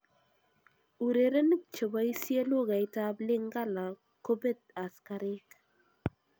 Urerenik cheboisie lugait ab Lingala kobet askarik.